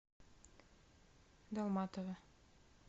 далматово